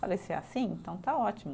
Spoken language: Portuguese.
Falei, se é assim, então está ótimo.